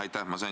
Aitäh!